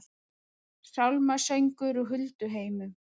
Sálmasöngur úr hulduheimum